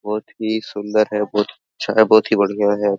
बहुत ही सुन्दर है बहुत ही अच्छा है बहुत ही बढ़िया है ।